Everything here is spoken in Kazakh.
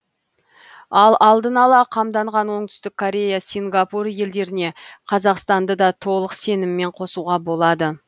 ал алдын ала қамданған оңтүстік корея сингапур елдеріне қазақстанды да толық сеніммен қосуға болады